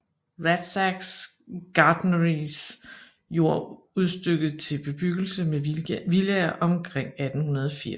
Rathsacks gartneris jord udstykket til bebyggelse med villaer omkring 1880